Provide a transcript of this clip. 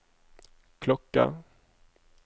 klokke